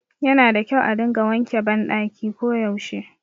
Yana da kyau a dinga wanke ban ɗaki ko yaushe